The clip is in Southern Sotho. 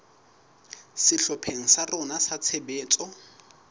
sehlopheng sa rona sa tshebetso